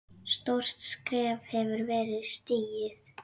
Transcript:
Stórt skref hefur verið stigið.